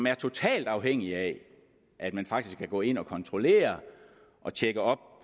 er totalt afhængigt af at man faktisk kan gå ind og kontrollere og tjekke op